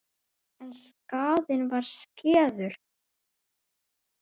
En skaðinn var skeður.